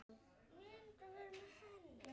Blessuð sé minning góðrar konu.